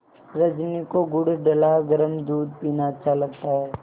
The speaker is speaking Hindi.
रजनी को गुड़ डला गरम दूध पीना अच्छा लगता है